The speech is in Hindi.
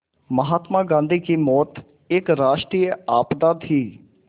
महात्मा गांधी की मौत एक राष्ट्रीय आपदा थी